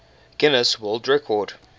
guinness world record